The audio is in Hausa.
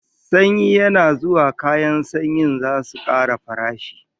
Sanyi yana zuwa kayan sanyin zasu kara farashi